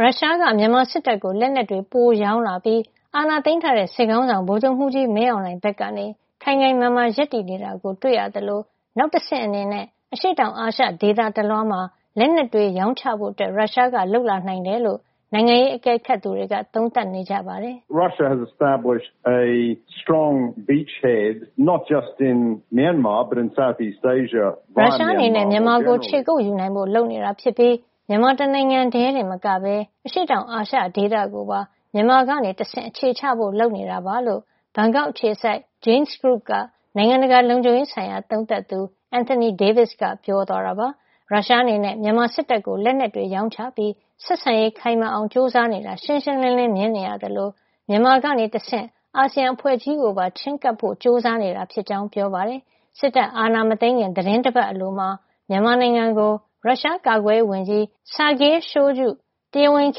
ရုရှားက မြန်မာစစ်တပ်ကို လက်နက်တွေ ပိုရောင်းလာပြီး အာဏာသိမ်းထားတဲ့ စစ်ခေါင်းဆောင် ဗိုလ်ချုပ်မှုးကြီး မင်းအောင်လှိုင် ဘက်ကနေ ခိုင်ခိုင်မာမာ ရပ်တည်နေတာ တွေ့ရသလို၊ နောက်တဆင့်အနေနဲ့ အရှေ့တောင်အာရှ ဒေသတလွှားမှာ လက်နက်တွေ ရောင်းချဖို့ ရုရှားက လုပ်လာနိုင်တယ်လို့ နိုင်ငံရေး အကဲခတ်တွေက သုံးသပ်နေကြပါတယ်။ ရုရှားအနေနဲ့ မြန်မာကို ခြေကုပ်ယူနိုင်ဖို့ လုပ်နေတာဖြစ်ပြီး မြန်မာတနိုင်ငံထည်းတင်မကပဲ အရှေ့တောင်အာရှ ဒေသကိုပါ မြန်မာကနေတဆင့် အခြေချဖို့ လုပ်နေတာပါလို့ ဘန်ကောက်အခြေစိုက် Jane's Group က နိုင်ငံတကာ လုံခြုံရေးဆိုင်ရာ သုံးသပ်သူ Anthony Davis က ပြောပါတယ်။ ရုရှားအနေနဲ့ မြန်မာစစ်တပ်ကို လက်နက်တွေ ရောင်းချပြီး ဆက်ဆံရေးခိုင်မာအောင် ကြိုးစားနေတာ ရှင်းရှင်းလင်းလင်း မြင်နေရသလို မြန်မာကနေတဆင့် အာဆီယံအဖွဲ့ကြီးကိုပါ ချဉ်းကပ်ဖို့ ကြိုးစားနေတာ ဖြစ်ကြောင်း ပြောပါတယ်။ စစ်တပ်အာဏာ မသိမ်းခင် သီတင်းတပတ်အလိုမှာ မြန်မာနိုင်ငံကို ရုရှားကာကွယ်ရေးဝန်ကြီး Sergei Shoigu က တရားဝင်ခ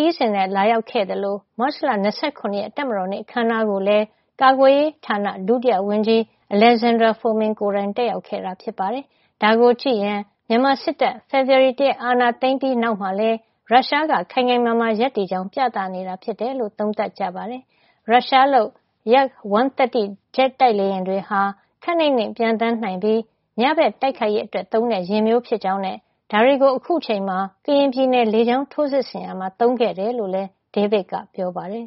ရီးစဉ် လာရောက်ခဲ့သလို၊ မတ်လ ၂၇ တပ်မတော်နေ့ အခမ်းအနားကိုလည်း ကာကွယ်ရေးဌာန ဒုဝန်ကြီး Alexander Fomin ကိုယ်တိုင် တက်ရောက်ခဲ့တာပါ။ ဒါကိုကြည့်ရင် ဖေဖေါ်ဝါရီ ၁ ရက်နေ့ မြန်မာစစ်တပ်က အာဏာသိမ်းပြီး နောက်မှာလည်း ရုရှားက ခိုင်ခိုင်မာမာ ရပ်တည်ကြောင်း ပြသနေတာ ဖြစ်တယ်လို့ သုံးသပ်ကြပါတယ်။ ရုရှားလုပ် Yak-130 ဂျက်တိုက်လေယာဉ်တွေဟာ ခပ်နိမ့်နိမ့် ပျံသန်းနိုင်ပြီး ညဘက် တိုက်ခိုက်ရေးအတွက် သုံးတဲ့ ယာဉ်မျိုးဖြစ်ကြောင်းနဲ့ ဒါတွေကို အခုချိန်မှာ ကရင်ပြည်နယ်တွင်း လေကြောင်းထိုးစစ်ဆင်ရာမှာ သုံးခဲ့တယ်လို့လည်း David က ပြောပါတယ်